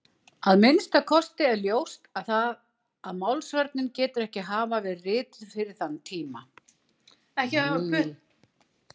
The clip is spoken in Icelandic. Að minnsta kosti er ljóst að Málsvörnin getur ekki hafa verið rituð fyrir þann tíma.